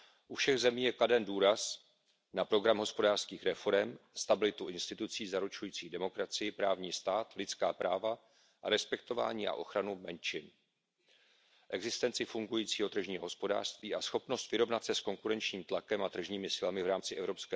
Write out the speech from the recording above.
U všech zemí je kladen důraz na program hospodářských reforem, stabilitu institucí zaručujících demokracii, právní stát, lidská práva a respektování a ochranu menšin, existenci fungujícího tržního hospodářství a schopnost vyrovnat se s konkurenčním tlakem a tržními silami v rámci EU.